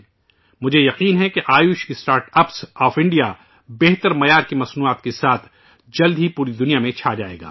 مجھے یقین ہے کہ بھارت کے آیوش اسٹارٹ اپ اعلیٰ معیار کی مصنوعات کے ساتھ جلد ہی پوری دنیا میں چھا جائیں گے